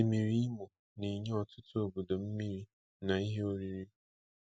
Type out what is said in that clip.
Osimiri Imo na-enye ọtụtụ obodo mmiri na ihe oriri.